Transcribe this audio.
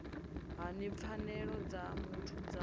hani pfanelo dza muthu dza